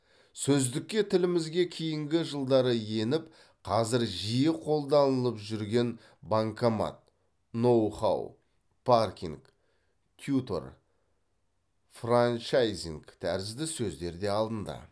сөздікке тілімізге кейінгі жылдары еніп қазір жиі қолданылып жүрген банкомат ноу хау паркинг тьютор франчайзинг тәрізді сөздер де алынды